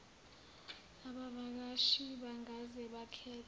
abavakashi bangaze bakhethe